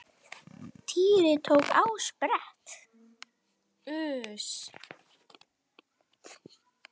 Týri tók á sprett.